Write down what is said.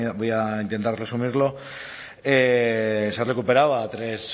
voy a intentar resumirlo se recuperaba tres